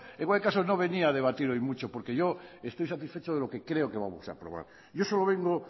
en cualquier caso no venía a debatir hoy mucho porque yo estoy satisfecho de lo que creo que vamos a aprobar yo solo vengo